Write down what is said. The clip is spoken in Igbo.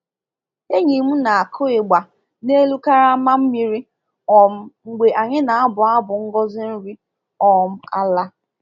Enyi m na-akụ ị gba n’elu karama mmiri um mgbe anyị na-abụ abụ ngozi nri um ala.